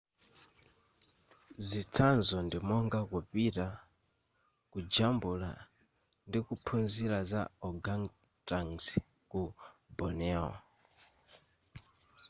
zitsanzo ndi monga kupita kujambula ndikuphunzira za organgatuangs ku borneo